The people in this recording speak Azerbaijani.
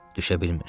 Düşə bilmirdi.